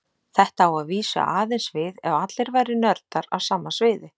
Þetta á að vísu aðeins við ef allir væru nördar á sama sviði.